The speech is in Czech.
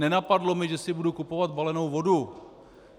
Nenapadlo mě, že si budu kupovat balenou vodu.